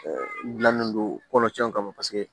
gilannen don kɔnɔtiɲɛ kama paseke